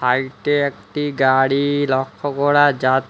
সাইটে একটি গাড়ি লক্ষ করা যা--